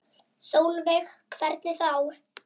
Sólveig: Hvernig þá?